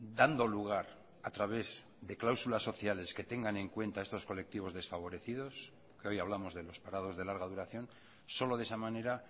dando lugar a través de cláusulas sociales que tengan en cuenta estos colectivos desfavorecidos que hoy hablamos de los parados de larga duración solo de esa manera